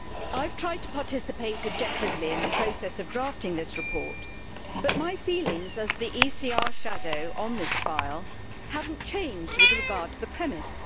I have tried to participate objectively in the process of drafting this report, but my feelings, as the ECR shadow on this file, have not changed with regard to the premise.